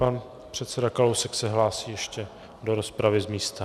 Pan předseda Kalousek se hlásí ještě do rozpravy z místa.